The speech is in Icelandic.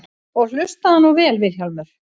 Og hlustaðu nú vel Vilhjálmur.